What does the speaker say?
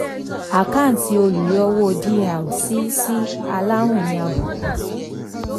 àkáǹtì olùyọwó dr sí sí aláwìn ní àbùkù